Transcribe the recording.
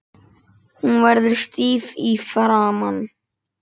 Hún verður stíf í framan.